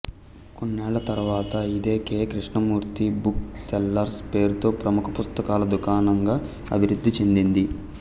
కొన్నేళ్ళ తరువాత ఇది K Krishnamurthy book sellers పేరుతో ప్రముఖ పుస్తకాల దుకాణంగా అభివృద్ధి చెందింది